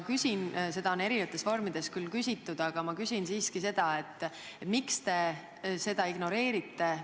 Seda on erinevates vormides küll juba küsitud, aga ma küsin siiski ka: miks te seda ignoreerite?